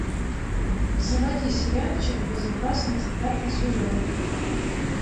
заводи сериальчик безопасность пятый сезон